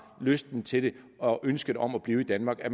lyst til og ønske om at blive i danmark